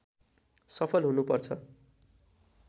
सफल हुनुपर्छ